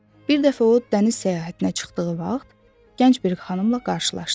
Bir dəfə o dəniz səyahətinə çıxdığı vaxt, gənc bir xanımla qarşılaşdı.